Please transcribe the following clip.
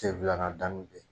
Sen filanan dalu bɛ